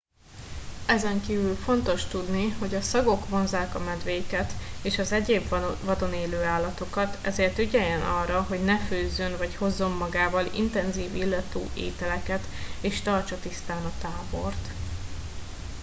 ezenkívül fontos tudni hogy a szagok vonzzák a medvéket és az egyéb vadon élő állatokat ezért ügyeljen arra hogy ne főzzön vagy hozzon magával intenzív illatú ételeket és tartsa tisztán a tábort